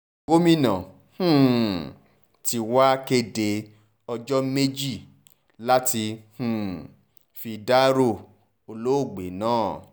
gomina um tí wàá kéde ọjọ́ méje láti um fi dárò olóògbé náà